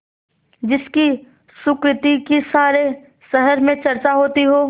जिसकी सुकृति की सारे शहर में चर्चा होती हो